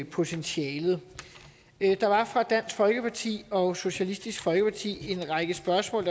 potentialet der var fra dansk folkeparti og socialistisk folkeparti en række spørgsmål